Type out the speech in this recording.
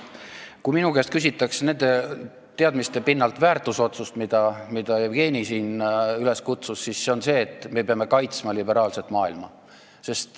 Kui minu käest nende teadmiste pinnalt väärtusotsuse kohta küsitakse – Jevgeni kutsus siin üles seda väljendama –, siis see on see, et me peame kaitsma liberaalset maailma.